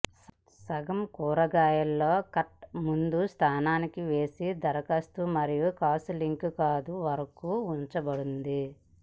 సగం కూరగాయల లో కట్ ముందు స్థానానికి వేసి దరఖాస్తు మరియు కాచు లీక్ కాదు వరకు ఉంచబడింది